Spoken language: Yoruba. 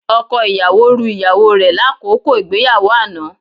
Ọkọ ìyàwó ru ìyàwó rẹ lákòókò ìgbéyàwó àná